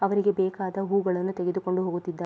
ಅವರಿಗೆ ಬೇಕಾದ ಹೂಗಳನ್ನು ತೆಗೆದುಕೊಂಡು ಹೋಗುತ್ತಿದ್ದಾ--